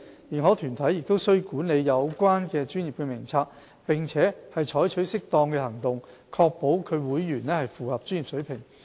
認可團體須管理有關專業的名冊，並採取適當行動確保其會員符合專業水平。